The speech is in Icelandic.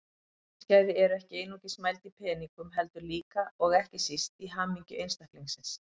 Lífsgæði eru ekki einungis mæld í peningum heldur líka, og ekki síst, í hamingju einstaklingsins.